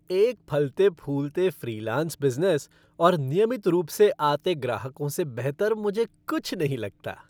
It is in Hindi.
एक फलते फूलते फ़्रीलांस बिज़नेस और नियमित रूप से आते से ग्राहकों से बेहतर मुझे कुछ नहीं लगता।